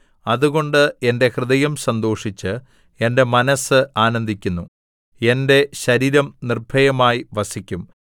അതുകൊണ്ട് എന്റെ ഹൃദയം സന്തോഷിച്ച് എന്റെ മനസ്സ് ആനന്ദിക്കുന്നു എന്റെ ശരീരം നിർഭയമായി വസിക്കും